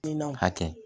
Kilinikiw hakɛ